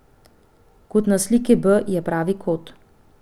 Kot na sliki B je pravi kot.